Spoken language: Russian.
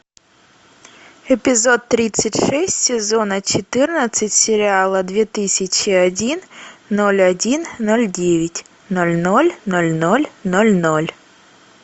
эпизод тридцать шесть сезона четырнадцать сериала две тысячи один ноль один ноль девять ноль ноль ноль ноль ноль ноль